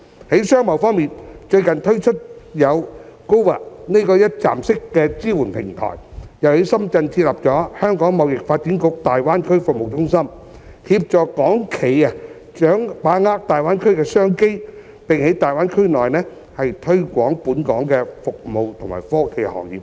在商貿方面，最近推出的有 "GoGBA" 這個一站式的支援平台，又在深圳設立了香港貿易發展局大灣區服務中心，協助港企把握大灣區的商機，並在大灣區內推廣本港服務和科技行業等。